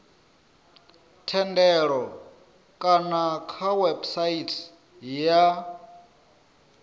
thendelo kana kha website ya